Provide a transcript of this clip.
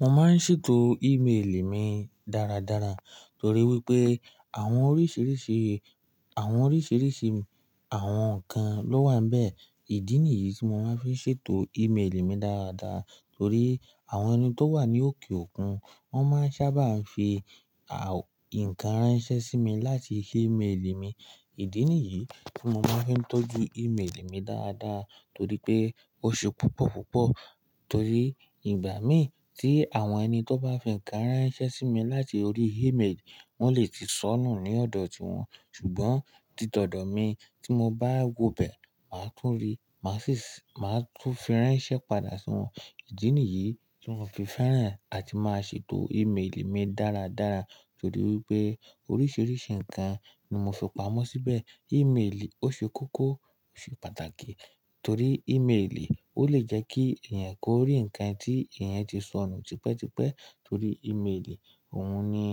Mo máa ń ṣètò email mi dáradára torí wípé àwọn oríṣiríṣi, àwọn oríṣiríṣi àwọn ǹkan ló wà nbẹ̀. Ìdí nìyí tí mo máa ń fi ṣètò email mi dáradára torí àwọn ẹni tó wà ní òkè òkun wọ́n máa ń sábà fi, àwọn ǹkan ránṣẹ́ sí mi láti sí email mi. Ìdí nìyií tí mo máa ń fi tọ́jú email mi dáadáa torí pé ó ṣe púpọ̀púpọ̀ torí ìgbà mìí tí àwọn ẹni tó bá fi ǹkan ránṣẹ́ sí mi láti orí email, wọ́n lè ti sọnù ní ọ̀dọ̀ tí wọn, ṣùgbọ́n ti tòdò mi tí mo bá wo bẹ, màá tún rí, màá sì máa tún fi ránṣẹ́ padà sí wọn. Ìdí nìyií tí mò fi fẹ́ràn àti máa ṣètò email mi dáradára torí wípé oríṣiríṣi ǹkan ni mo fi pamọ́ síbẹ̀. Email ó ṣe kókó, ó ṣe pàtàkì torí email ó lè jẹ́ kí ẹ̀yàn kó rí ǹkan tí ẹ̀yàn ti sọnù tipẹ́tipẹ́ torí email òun ni,